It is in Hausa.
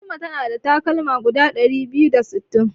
Fatima ta na da takalma guda ɗari biyu da sittin.